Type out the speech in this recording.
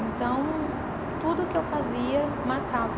Então, tudo o que eu fazia marcava.